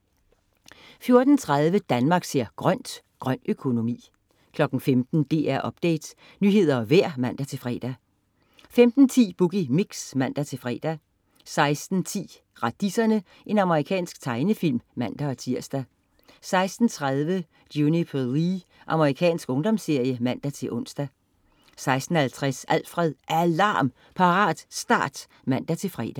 14.30 Danmark ser grønt: Grøn økonomi 15.00 DR Update. Nyheder og vejr (man-fre) 15.10 Boogie Mix (man-fre) 16.05 Radiserne. Amerikansk tegnefilm (man-tirs) 16.30 Juniper Lee. Amerikansk ungdomsserie (man-ons) 16.50 Alfred. Alarm! Parat, start (man-fre)